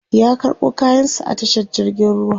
ya karɓo kayan sa a tashar jirgin ruwa